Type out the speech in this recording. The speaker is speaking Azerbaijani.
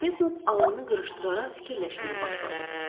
Arbetnot alnını qırışdıraraq fikirləşməyə başladı.